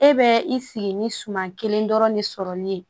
E bɛ i sigi ni suma kelen dɔrɔn de sɔrɔ ni ye